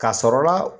K'a sɔrɔla